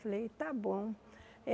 Falei, tá bom.